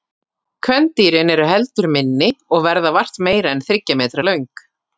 Kvendýrin eru heldur minni og verða vart meira en þriggja metra löng.